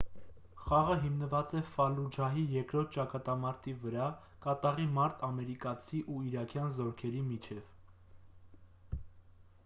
խաղը հիմնված է ֆալլուջահի երկրորդ ճակատամարտի վրա կատաղի մարտ ամերիկացի ու իրաքյան զորքերի միջև